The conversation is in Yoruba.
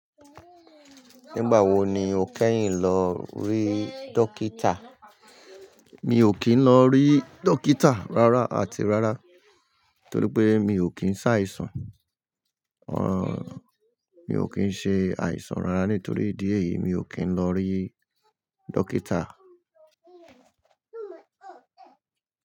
Nígbà wo ni o kẹ́yìn lọ rí dókítà? Mi ò kí ń lọ rí dókítà rárá àti rárá torí pé mi ò kí ń ṣàìsàn. Ọ mi ò kí ń ṣe àìsàn rárá nítorí idí ẹ̀yìí mi ò kí ń lọ rí dókítà.